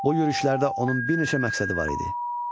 Bu yürüşlərdə onun bir neçə məqsədi var idi: